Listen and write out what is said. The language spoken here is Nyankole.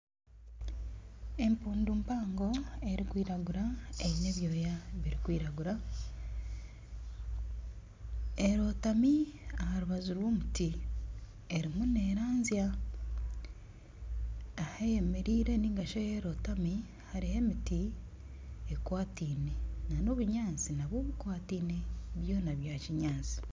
Empundu mpango erikwiragura eine ebyoya birikwiragura, erootami aha rubuju rw'omuti erimu neeranzya, ahu eyemereire nari shi ahu erootami hariho emiti ekwataine nana obunyaatsi nabwo bukwataine byona byakinyaatsi